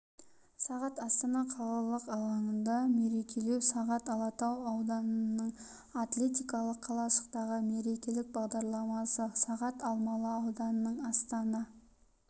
сағат астана қалалық алаңында мерекелеу сағат алатау ауданының атлетикалық қалашықтағы мерекелік бағдарламасы сағат алмалы ауданының астана